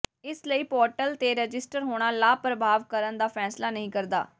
ਇਸ ਲਈ ਪੋਰਟਲ ਤੇ ਰਜਿਸਟਰ ਹੋਣਾ ਲਾਭ ਪ੍ਰਾਪਤ ਕਰਨ ਦਾ ਫੈਸਲਾ ਨਹੀਂ ਕਰਦਾ